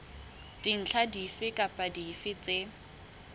dintlha dife kapa dife tse